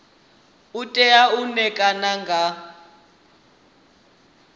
u tea u ṋekana nga